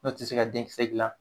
N'o tɛ se ka denkisɛ gilan